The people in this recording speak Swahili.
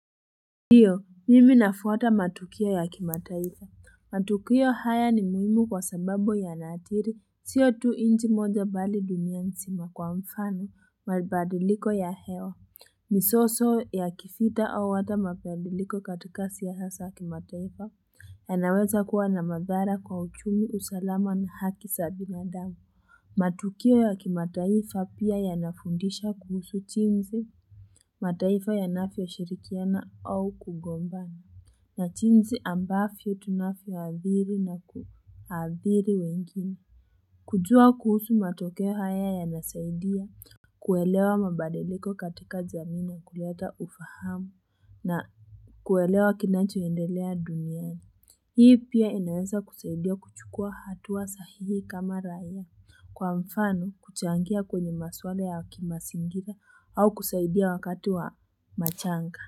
Ndiyo, mimi nafuata matukio ya kimataifa, matukio haya ni muhimu kwa sababu ya na diri, sio tu inji moja bali dunia nzima kwa mfano, mabidiliko ya hewa, Misoso ya kifita au hata mapadiliko katika siasa ya kimataifa, anaweza kuwa na madhara kwa uchumi, usalama ni haki za binadamu. Matukio ya kimataifa pia ya nafundisha kuhusu chinzi, mataifa ya nafya shirikiana au kugombana. Nachinsi ambavyo tunavyoadhiri na kuadhiri wengine. Kujua kuhusu matoke haya ya nasaidia. Kuelewa mabadiliko katika jamii ni kuleta ufahamu. Na kuelewa kinanchoendelea duniani. Hii pia inaenza kusaidia kuchukua hatua sahihi kama raiya. Kwa mfano, kuchangia kwenye maswala ya kimasingira au kusaidia wakati wa machanga.